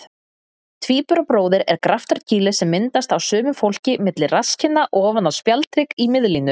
Tvíburabróðir er graftarkýli sem myndast á sumu fólki milli rasskinna ofan á spjaldhrygg í miðlínu.